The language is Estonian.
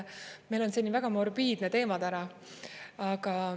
Meil on selline väga morbiidne teema täna.